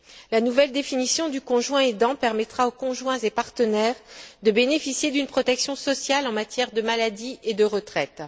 La nouvelle définition du conjoint aidant permettra aux conjoints et partenaires de bénéficier d'une protection sociale en matière de maladie et de retraite.